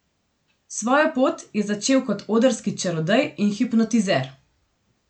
Svojo pot je začel kot odrski čarodej in hipnotizer.